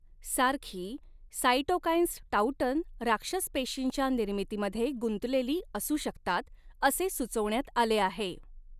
सारखी साइटोकाइन्स टॉउटन राक्षस पेशींच्या निर्मितीमध्ये गुंतलेली असू शकतात असे सुचवण्यात आले आहे.